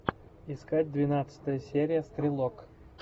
искать двенадцатая серия стрелок